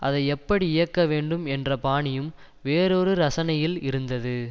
அதை எப்படி இயக்க வேண்டும் என்ற பாணியும் வேறொரு ரசனையில் இருந்தது